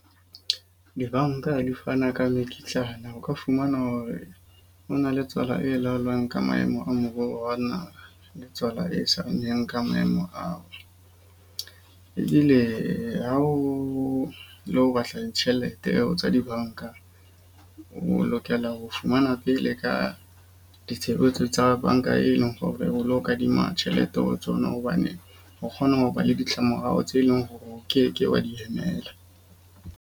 Dibanka di fana ka mekitlana. O ka fumana hore o na le tswala e laolwang ke maemo a moruo wa naha le tswala e sa ka maemo ao. Ebile ha o lo batla ditjhelete tsa dibanka, o lokela ho fumana pele ka ditshebetso tsa banka eno, hore o lo kadima tjhelete ho tsona. Hobane o kgona ho ba le ditlamorao tse leng hore o keke wa di emela.